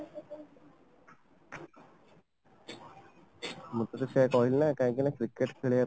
ମୁଁ ତତେ ସେଇୟା କହିଲି ନା କାହିଁକିନା cricket ଖେଳିବା ପାଇଁ